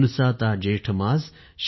झुलसाता जेठ मास